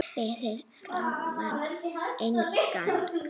Fyrir framan inngang